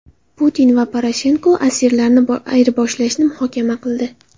Putin va Poroshenko asirlarni ayirboshlashni muhokama qildi.